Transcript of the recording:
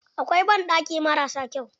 Akwai banɗaki marasa kyau.